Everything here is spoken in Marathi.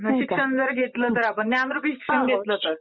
ज्ञानरूपी शिक्षण घेतलं तर?